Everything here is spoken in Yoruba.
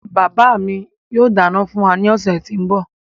Bàbá mi yóò dáná fún wa ní ọ̀sẹ̀ tí ń bọ̀.